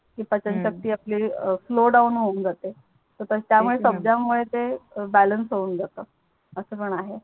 ते पचनशक्ति आपली Slow down हून जाते तर त्या मूळे तेच णा सबजा मूळे ते बॅलेन्स हून जातो अस पण आहे